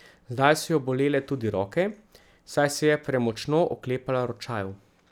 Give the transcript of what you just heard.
Zdaj so jo bolele tudi roke, saj se je premočno oklepala ročajev.